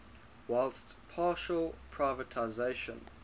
whilst partial privatisation